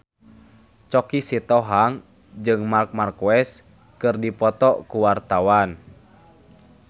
Choky Sitohang jeung Marc Marquez keur dipoto ku wartawan